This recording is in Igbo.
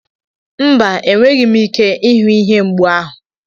Mba, enweghị m ike ịhụ ihe mgbu ahụ.